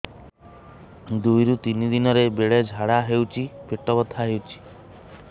ଦୁଇରୁ ତିନି ଦିନରେ ବେଳେ ଝାଡ଼ା ହେଉଛି ପେଟ ବଥା ହେଉଛି